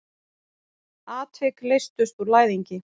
Atvik leystust úr læðingi.